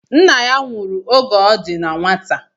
Nna ya nwụrụ oge ọ di na nwata